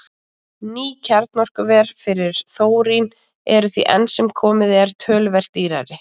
Ný kjarnorkuver fyrir þórín eru því enn sem komið er töluvert dýrari.